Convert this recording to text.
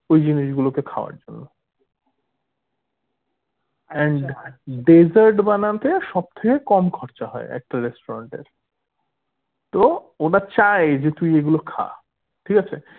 ওই জিনিসগুলোকে খাবার জন্য and desert বানাতে সব থেকে কম খরচা হয় একটা restaurant এর তো ওরা চায় যে তুই এইগুলো খা ঠিক আছে